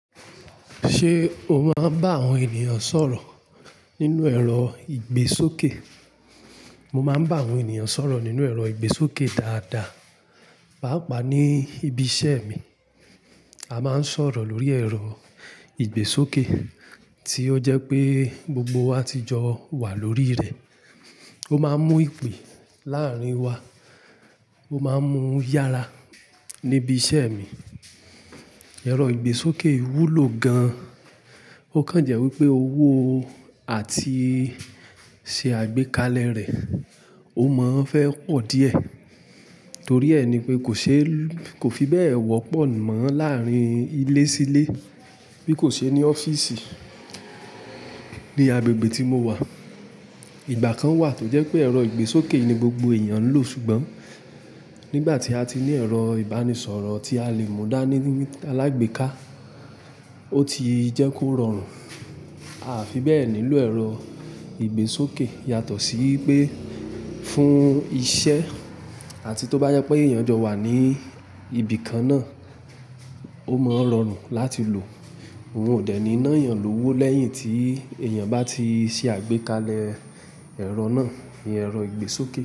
Ṣé o máa ń bá àwọn ènìyàn sọ̀rọ̀ nínú ẹ̀rọ ìgbésókè? Mo máa ń bá àwọn ènìyàn sọ̀rọ̀ nínú ẹ̀rọ ìgbésókè dáadáa. Páapá ní ibi iṣẹ́ mi, a máa ń sọ̀rọ̀ lórí ẹ̀rọ ìgbésókè tí ó jẹ́ pé gbogbo wa ti jọ wà lórí rẹ̀. Ó máa ń mú ìpè láàárín wa. Ó máa ń mú yára níbi iṣẹ́ mi. Ẹ̀rọ ìgbésókè wúlò gan-an. Ó kán jẹ́ wí pé owó àti ṣe àgbékalẹ̀ rẹ̀, ó mọ́ ń fẹ́ pọ̀ díẹ̀. Torí ẹ ni pé kò ṣe, kò fi bẹ́ẹ̀ wọ́pọ̀ mọ́ láàárín ilé sí ilé bí kò ṣe ní ọ́fíìsì. Ní agbègbè tí mo wà, ìgbà kan wà tó jẹ́ pé ẹ̀rọ ìgbésókè ni gbogbo èèyàn ń lò ṣùgbọ́n nígbà tí a ti ní ẹ̀rọ ìbánisọ̀rọ̀ tí a lè mú dá ní alágbèéká, ó ti jẹ́ kó rọrùn, a fi bẹ́ẹ̀ nílò ẹ̀rọ ìgbésókè. Yàtọ̀ sí pé fún iṣẹ́ àti tó bá yẹ pé èèyàn jọ wà ní ibi kan náà, ó mọ́ rọrùn láti lò. Òun ò dẹ̀ ní ná èèyàn lòwó lẹ́yìn tí èèyàn bá ti ṣe àgbékalẹ̀ ẹ̀rọ náà, ìyẹn ẹ̀rọ ìgbésókè.